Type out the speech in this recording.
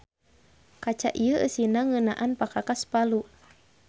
Kaca ieu eusina ngeunaan pakakas Palu.